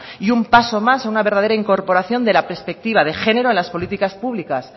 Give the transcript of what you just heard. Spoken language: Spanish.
y un paso más a una verdadera incorporación de la perspectiva de género en las políticas públicas